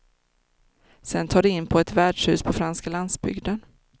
Sen tar de in på ett värdshus på franska landsbygden.